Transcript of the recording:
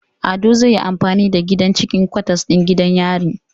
Ado zai yi amfani da gidan cikin kwatas din gidan yari